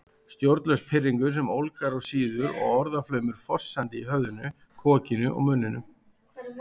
Stjórnlaus pirringur sem ólgar og sýður og orðaflaumur fossandi í höfðinu, kokinu, munninum